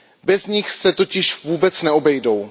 Bez nich se totiž vůbec neobejdou.